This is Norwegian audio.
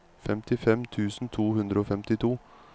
femtifem tusen to hundre og femtito